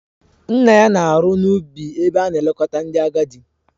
Nna ya na-arụ n'ubi ebe a na-elekọta ndị agadi